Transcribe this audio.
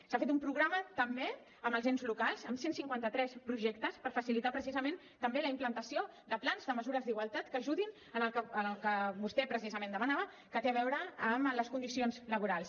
s’ha fet un programa també amb els ens locals amb cent i cinquanta tres projectes per facilitar precisament també la implantació de plans de mesures d’igualtat que ajudin en el que vostè precisament demanava que té a veure amb les condicions laborals